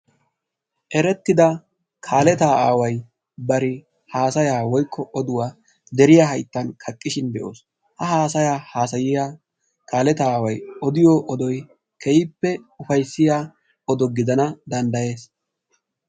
Eretida kaaleta aaway bari haassaya deriya hayttani kaqishin be'oosi ha asi odiyo odoy keehipe ufayassiyaga gidana dandayessi.